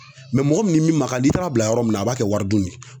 mɔgɔ min ni min man kan n'i taara bila yɔrɔ min na a b'a kɛ waridun ye